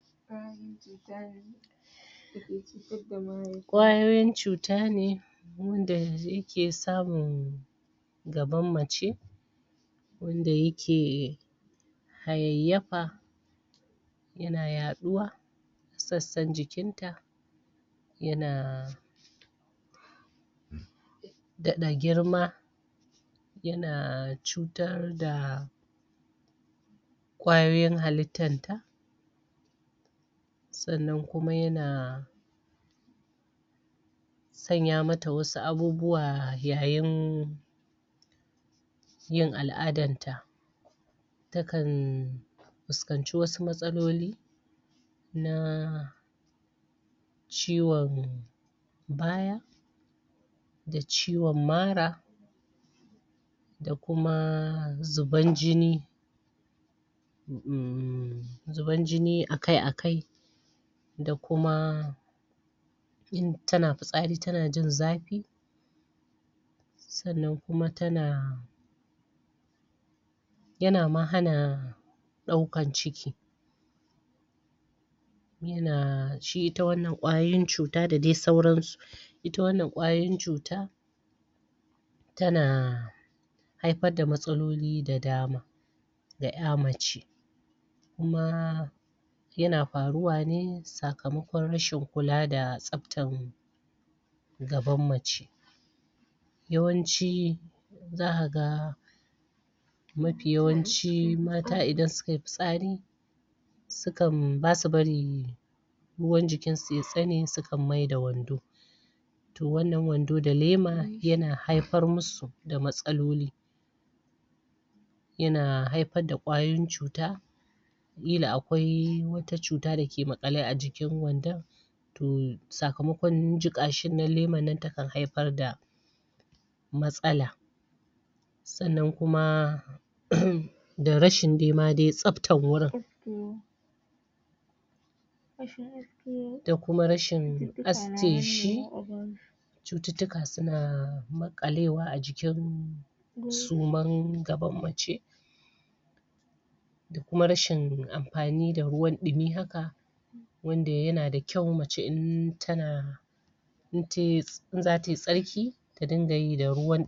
ƙwayoyin cuta ne wanda yake samun gaban mace wanda yake hayayyafa yana yaɗuwa a sassan jikin ta yana daɗa girma yana cutar da ƙwayoyin halittar ta sannan kuma yana sanya mata wasu abubuwa yayin yin al'adar ta ta kan fuskanci wasu matsaloli na ciwon baya da ciwon mara da kuma zuban jini umm zuban jini akai-akai da kuma in tana fitsari tana jin zafi sannan kuma tana yana ma hana ɗaukan ciki ita wannan ƙwayoyin cuta da dai sauran su ita wannan ƙwayoyin cuta tana haifar da matsaloli da dama ga ƴa mace kuma yana faruwa ne sakamakon rashin kula da tsaftan gaban mace yawanci zaka ga mafi yawanci mata idan suka yi fitsari basu bari ruwan jikin su ya tsane sukan maida wando to wannan wando da lema yana haifar mu su da matsaloli yana haifar da ƙwayoyin cuta ƙila akwai wata cuta da ke maƙale a jikin wandon to sakamakon jiƙa shin nan leman nan takan haifar da matsala sannan kuma da rashin ma de tsabtar wurin da kuma rashin aske shi cututtuka suna maƙalewa a jikin suman gaban mace da kuma rashin amfani da ruwan ɗumi haka wanda yana da kyau mace in tana in tayi in zata yi tsarki ta dinga yi da ruwan